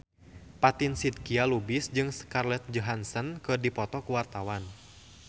Fatin Shidqia Lubis jeung Scarlett Johansson keur dipoto ku wartawan